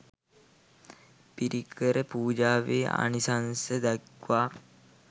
පිරිකර පූජාවේ ආනිශංස දක්වා